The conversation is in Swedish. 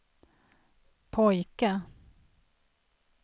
pojke